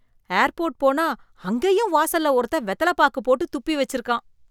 Airport போனா அங்கேயும் வாசல்ல ஒருத்தன் வெத்தல பாக்கு போட்டு துப்பி வெச்சிருக்கான்.